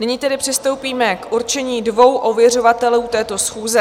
Nyní tedy přistoupíme k určení dvou ověřovatelů této schůze.